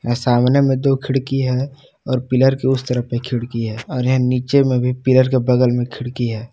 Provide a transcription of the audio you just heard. सामने में दो खिड़की है और पिलर के उस तरफ भी खिड़की है और इहा नीचे में भी पिलर के बगल में खिड़की है।